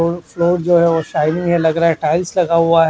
Floor जो है वो शाइनिंग है लग रहा है टाइल्स लगा हुआ है।